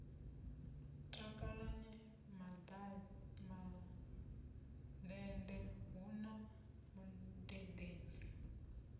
takalani mandende hu na mudededzi